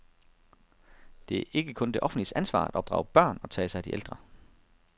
Det er ikke kun det offentliges ansvar at opdrage børn og tage sig af de ældre.